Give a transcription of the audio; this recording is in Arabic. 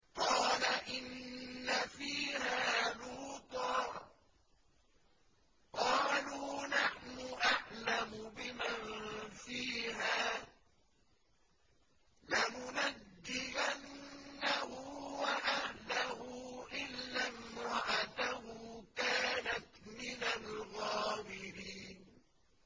قَالَ إِنَّ فِيهَا لُوطًا ۚ قَالُوا نَحْنُ أَعْلَمُ بِمَن فِيهَا ۖ لَنُنَجِّيَنَّهُ وَأَهْلَهُ إِلَّا امْرَأَتَهُ كَانَتْ مِنَ الْغَابِرِينَ